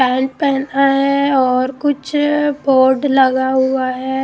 Pant पहना है और कुछ बोर्ड लगा हुआ है।